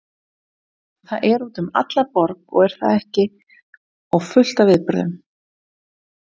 Þetta er út um alla borg er það ekki og fullt af viðburðum?